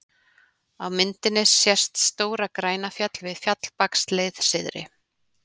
Á myndinni sést Stóra-Grænafjall við Fjallabaksleið syðri.